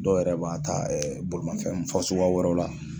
Dɔw yɛrɛ b'a ta bolimafen fasuguya wɛrɛw la.